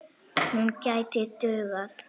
Hún gæti dugað.